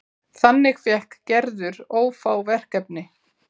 Þannig fékk Gerður ófá verkefni.